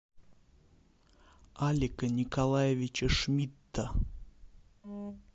алика николаевича шмидта